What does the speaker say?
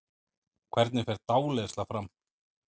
Hvernig fer dáleiðsla fram?